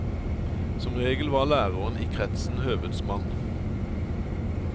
Som regel var læreren i kretsen høvedsmann.